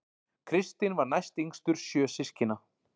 Kristinn var næstyngstur sjö systkina